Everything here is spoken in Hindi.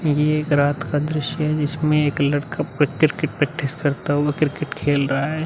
ये एक रात का दृश्य है जिसमें एक लड़का की प्रैक्टिस करता हुआ क्रिकेट खेल रहा है।